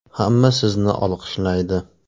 Hamma sizni olqishlaydi.